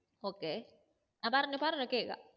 okay